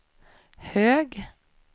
hög